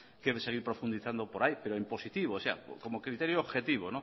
que seguir profundizando por ahí pero en positivo como criterio objetivo